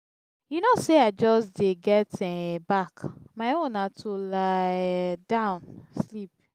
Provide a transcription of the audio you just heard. you know say i just dey get um back my own na to lie um down sleep.